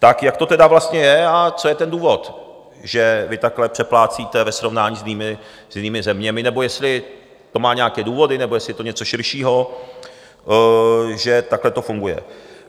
Tak jak to tedy vlastně je a co je ten důvod, že vy takhle přeplácíte ve srovnání s jinými zeměmi, nebo jestli to má nějaké důvody, nebo jestli je to něco širšího, že takhle to funguje.